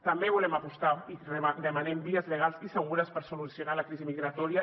també volem apostar i demanem vies legals i segures per solucionar la crisi migratòria